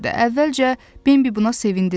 Əvvəlcə Bembi buna sevindi də.